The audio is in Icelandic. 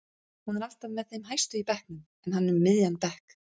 Hún er alltaf með þeim hæstu í bekknum en hann um miðjan bekk.